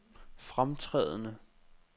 fremtrædende